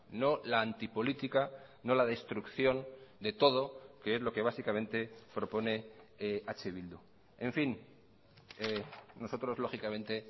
no la antipolítica no la destrucción de todo que es lo que básicamente propone eh bildu en fin nosotros lógicamente